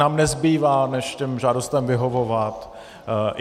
Nám nezbývá než těmto žádostem vyhovovat.